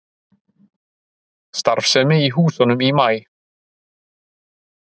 Starfsemi í húsunum í maí